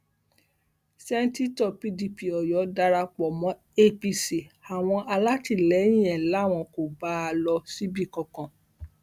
sẹńtítọ pdp ọyọ dara pọ mọ apc àwọn alátìlẹyìn ẹ làwọn kò bá a lọ síbì kankan